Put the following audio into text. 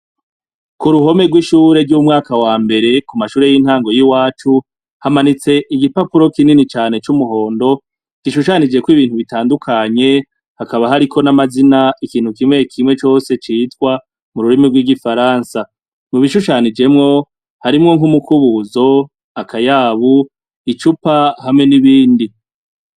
Ku ruhome rw'ishure ry'umwaka wa mbere, ku mashure y'intango yiwacu, hamanitse ibipapuro kinini cane c'umuhondo, gishushanijeko ibintu bitandukanye hakaba hariko n'amazina yikintu kimwe kimwe cose citwa mu rurimi rw'igifaransa. Mu bishushanijemwo harimwo nk'umukubuzo, akayabu, icupa hamwe n'ibindi.